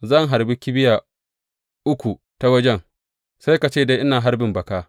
Zan harbi kibiya uku ta wajen, sai ka ce dai ina harbin baka.